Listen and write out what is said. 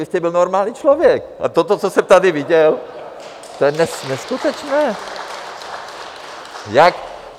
Vy jste byl normální člověk a toto, co jsem tady viděl, to je neskutečné!